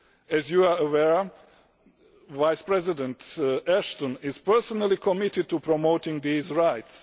As you are aware, Vice President Ashton is personally committed to promoting these rights.